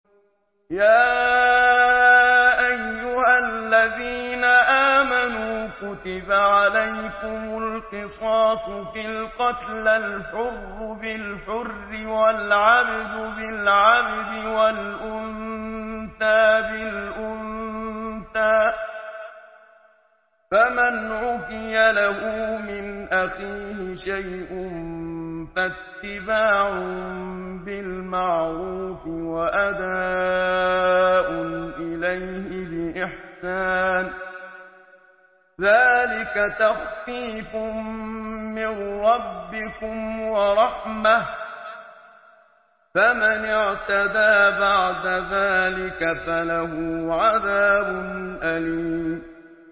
يَا أَيُّهَا الَّذِينَ آمَنُوا كُتِبَ عَلَيْكُمُ الْقِصَاصُ فِي الْقَتْلَى ۖ الْحُرُّ بِالْحُرِّ وَالْعَبْدُ بِالْعَبْدِ وَالْأُنثَىٰ بِالْأُنثَىٰ ۚ فَمَنْ عُفِيَ لَهُ مِنْ أَخِيهِ شَيْءٌ فَاتِّبَاعٌ بِالْمَعْرُوفِ وَأَدَاءٌ إِلَيْهِ بِإِحْسَانٍ ۗ ذَٰلِكَ تَخْفِيفٌ مِّن رَّبِّكُمْ وَرَحْمَةٌ ۗ فَمَنِ اعْتَدَىٰ بَعْدَ ذَٰلِكَ فَلَهُ عَذَابٌ أَلِيمٌ